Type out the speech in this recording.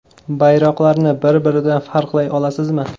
Bayroqlarni bir-biridan farqlay olasizmi?